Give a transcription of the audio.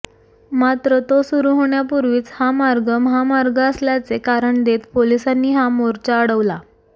मात्र तो सुरू होण्यापूर्वीच हा मार्ग महामार्ग असल्याचे कारण देत पोलिसांनी हा मोर्चा अडवला